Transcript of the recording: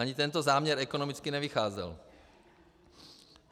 Ani tento záměr ekonomicky nevycházel.